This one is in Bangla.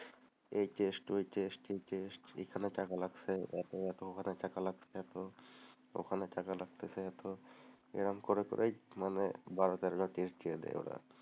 এই টেস্ট, ওই টেস্ট, সেই টেস্ট, এখানে টাকা লাগবে এতো, ওখানে টাকা লাগবে এতো, এরকম করে করেই বারো তেরোটা টেস্ট দিয়ে দেয় ওরা,